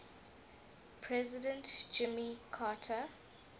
president jimmy carter